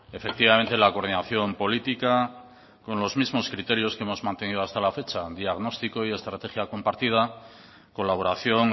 efectivamente la coordinación política con los mismos criterios que hemos mantenido hasta la fecha diagnóstico y estrategia compartida colaboración